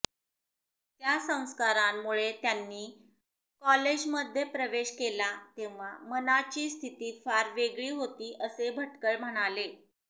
त्या संस्कारांमुळे त्यांनी कॉलेजमध्ये प्रवेश केला तेव्हा मनाची स्थिती फार वेगळी होती असे भटकळ म्हणाले